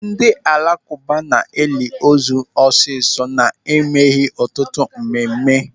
Ndị alakụba na-eli ozu ọsịsọ na-emeghị ọtụtụ mmemme.